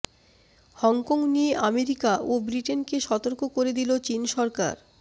Hong Kong নিয়ে America ও ব্রিটেনকে সতর্ক করে দিল চীন সরকার